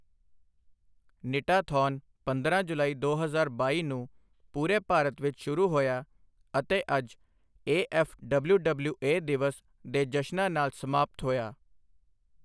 ਨਿਟਾਥੌਨ ਪੰਦਰਾਂ ਜੁਲਾਈ ਦੋ ਹਜ਼ਾਰ ਬਾਈ ਨੂੰ ਪੂਰੇ ਭਾਰਤ ਵਿੱਚ ਸ਼ੁਰੂ ਹੋਇਆ ਅਤੇ ਅੱਜ ਏਐੱਫਡਬਲਿਊਡਬਲਿਊਏ ਦਿਵਸ ਦੇ ਜਸ਼ਨਾਂ ਨਾਲ ਸਮਾਪਤ ਹੋਇਆ।